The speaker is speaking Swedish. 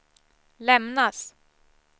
lämnas